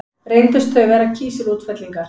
Reyndust þau vera kísilútfellingar.